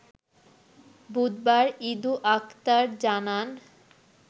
বুধবার ইদু আকতার জানান